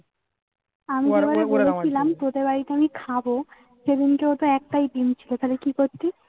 আমি যে বারে বলাচ্ছিলাম তোদের এইখানে খাবো সেদিনকে হয়তো একটাই ডিম ছিল তালে কি করতি